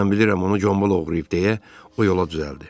Mən bilirəm onu Gombul oğruyub, deyə o yola düzəldi.